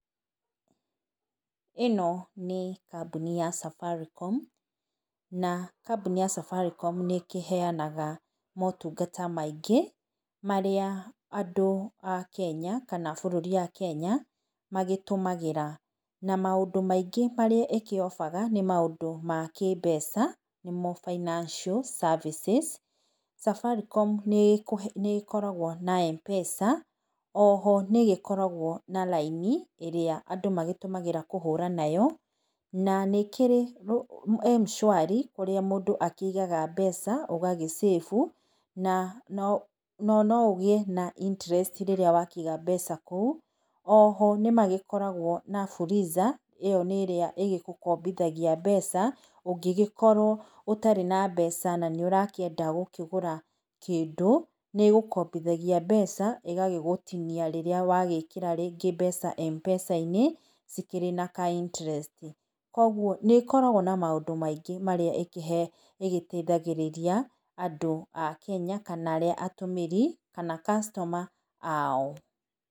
Ĩno nĩ kambuni ya Safaricom, na kambuni ya Safaricom nĩ ĩkĩheanaga motungata maingĩ, marĩa andũ a Kenya, kana bũrũri akenya magĩtũmĩraga. Na maũndũ maingĩ marĩa makĩ offer -ga nĩ ma kĩmbeca nĩmo financial services. Safaricom nĩ ĩkoragwo na M-pesa, oho nĩ ĩgĩkoragwo na riaini ĩrĩa andũ magĩtũmagĩra kũhũra nayo. Na nĩ ĩkĩri M-shwari kũrĩa mũndũ akĩigaga mbeca ũgagĩ save. No no ũgĩe na interest rĩrĩa wakĩiga mbeca kũu. Oho nĩ magĩkoragwo na Fuliza, ĩyo nĩ ĩrĩa ĩgĩgũkombithagia mbeca ũngĩgĩkorwo ũtarĩ na mbeca na nĩ ũrakĩenda gũkĩgũra kĩndũ. Nĩ ĩgũkombithagia mbeca ĩgagĩgũtinia rĩrĩa wagĩkĩra mbeca rĩngĩ M-pesa-inĩ cikĩrĩ na ka interest. Koguo nĩ ĩkoragwo na maũndũ maingĩ marĩa ĩgĩteithagĩrĩria andũ a Kenya kana arĩa atũmĩri kana customer ao.